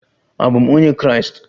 Abụ m onye Kraịst.